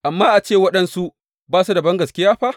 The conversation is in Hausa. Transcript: Amma a ce waɗansu ba su da bangaskiya fa?